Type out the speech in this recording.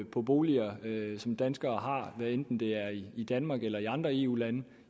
på boliger som danskere har hvad enten det er i i danmark eller i andre eu lande